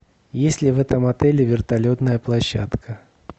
есть ли в этом отеле вертолетная площадка